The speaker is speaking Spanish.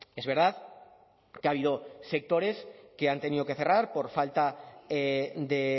es verdad que ha habido sectores que han tenido que cerrar por falta de